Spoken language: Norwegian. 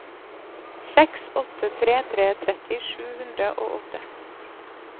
seks åtte tre tre tretti sju hundre og åtte